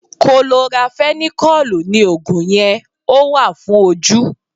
Kolorafenikọ́lùù ni Ògùn yẹn, ó wà fún ojú.